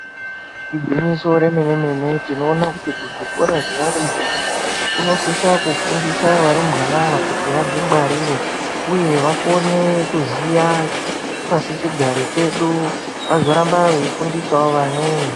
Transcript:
Igwinyiso remene mene tinoona kuti kuzvikora zvevarumbwana vanofundisa varumbwana ava kuti vazvingwarire uye vakone kuziva pasi chigare chedu vazoramba veifundisawo vamweni.